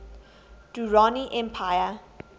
durrani empire